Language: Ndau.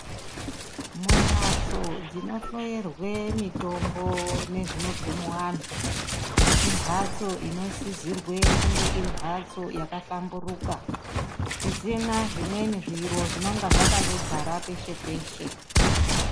Mumbatso dzinohloerwe mitombo nezvinobve antu. Imhatso inosizirwe kunge iri mhatso yakahlamburuka. Isina zvimweni zviro zvinonga zvakandodzara peshe-peshe.